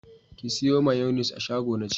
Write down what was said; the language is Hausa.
Ki sayo mayonis a shago na ce!